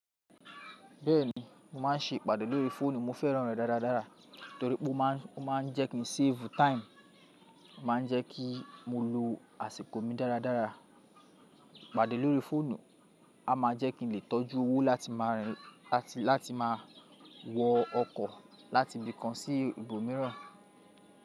Bẹ́ẹ̀ni, mo máà ń ṣe ìpàdé lórí fóònù. Mo fẹ́ràn rẹ̀ dáradára torí pé ó máa ń jẹ́kí ń save time, ó máa ń jẹ́ kí n lo àsìkò mi dáradára. Ìpàdé lórí fóònù a máa jẹ́ kí n lè tọ́jú owó láti máa wọ ọkọ̀ láti ibì kan sí ibòmíràn.